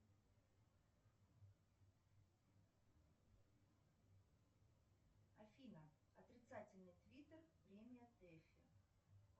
афина отрицательный твитер премия тэфи